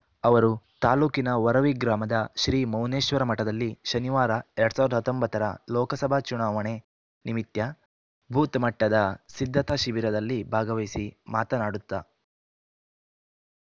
ಅವರು ತಾಲೂಕಿನ ವರವಿ ಗ್ರಾಮದ ಶ್ರೀ ಮೌನೇಶ್ವರ ಮಠದಲ್ಲಿ ಶನಿವಾರ ಎರಡ್ ಸಾವಿರದ ಹತ್ತೊಂಬತ್ತು ರ ಲೋಕಸಭಾ ಚುನಾವಣೆ ನಿಮಿತ್ಯ ಬೂತ್ ಮಟ್ಟದ ಸಿಧ್ಧತಾ ಶಿಬಿರದಲ್ಲಿ ಭಾಗವಹಿಸಿ ಮಾತನಾಡುತ್ತಾ